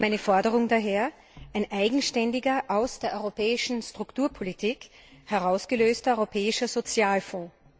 Meine Forderung ist daher ein eigenständiger, aus der europäischen Strukturpolitik herausgelöster europäischer Sozialfonds.